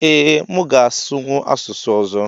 Ee mu ga asụnwụ asụsụ ọzọ